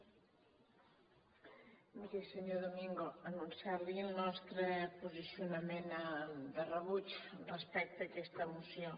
miri senyor domingo anun ciar li el nostre posicionament de rebuig respecte a aquesta moció